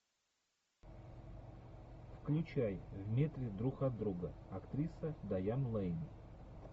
включай в метре друг от друга актриса дайан лэйн